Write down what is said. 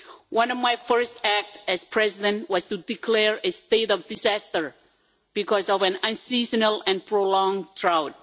One of my first acts as President was to declare a state of disaster because of an unseasonal and prolonged drought.